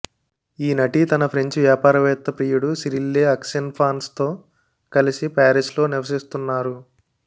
ఈ నటి తన ఫ్రెంచ్ వ్యాపారవేత్త ప్రియుడు సిరిల్లే ఆక్సెన్ఫాన్స్తో కలిసి పారిస్లో నివసిస్తున్నారు